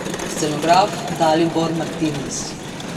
Scenograf Dalibor Martinis.